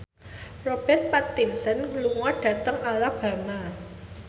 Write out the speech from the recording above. Robert Pattinson lunga dhateng Alabama